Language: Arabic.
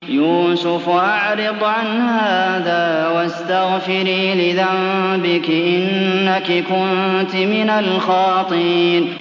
يُوسُفُ أَعْرِضْ عَنْ هَٰذَا ۚ وَاسْتَغْفِرِي لِذَنبِكِ ۖ إِنَّكِ كُنتِ مِنَ الْخَاطِئِينَ